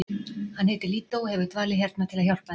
Hann heitir Lídó og hefur dvalið hérna til að hjálpa þeim.